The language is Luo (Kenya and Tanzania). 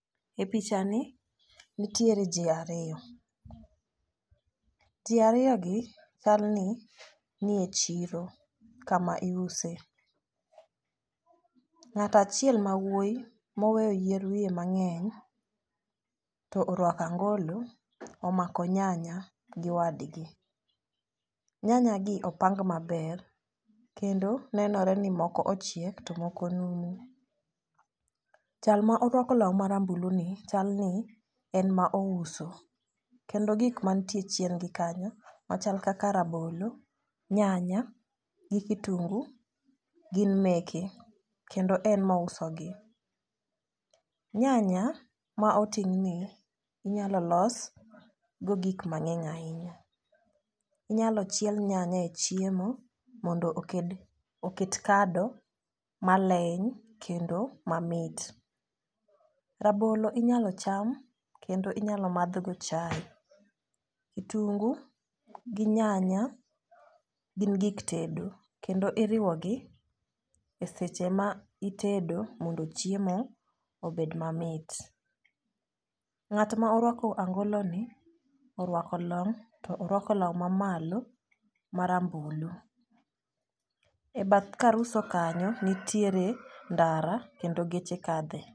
E picha ni nitiere jii ariyo. Jii ariyo gi chalni nie chiro kama iuse ng'ata chiel mawuoyi moweyo yier wiye mang'eny to orwako angolo omako nyanya gi wadgi . Nyanya gi opang maber kendo nenore ni moko ochiek to moko numu. Jal ma orwako law marambulu ni chal ni en ma ouso kendo gik mantie chien gi kanyo machal kaka rabolo nyanya gi kitungu gin meke kendo en mouso gi. Nyanya ma oting' ni inyalo los go gik mang'eny ahinya. Inyalo chiel nyanya e chiemo mondo oked oket kado maleny kendo mamit. Rabolo inyalo cham kendo inyalo madhgo chai , kitungu gi nyanya gin gik tedo kendo iriwo gi e seche ma itedo mondo chiemo obed mamit. Ng'at ma orwako angolo ni orwako long' to orwako law mamalo marambulu. E bath kar uso kanyo nitiere ndara kendo geche kadhe.